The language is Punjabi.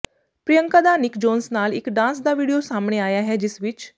ਪ੍ਰਿਯੰਕਾ ਦਾ ਨਿਕ ਜੋਨਸ ਨਾਲ ਇੱਕ ਡਾਂਸ ਦਾ ਵੀਡੀਓ ਸਾਹਮਣੇ ਆਇਆ ਹੈ ਜਿਸ ਵਿੱਚ